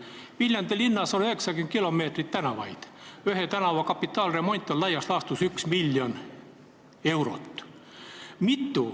Viljandi linnas on 90 kilomeetrit tänavaid, ühe kilomeetri kapitaalremont maksab laias laastus 1 miljon eurot.